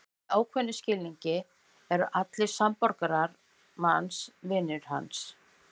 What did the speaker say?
Í ákveðnum skilningi eru allir samborgarar manns vinir hans.